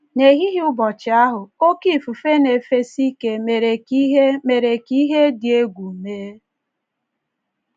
N’ehihie ụbọchị ahụ, oké ifufe na - efesi ike mere ka ihe mere ka ihe dị egwu mee.